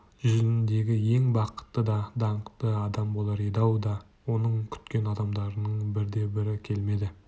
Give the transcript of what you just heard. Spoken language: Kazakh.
жүзіндегі ең бақытты да даңқты адам болар еді-ау да оның күткен адамдарының бірде-бірі келмеді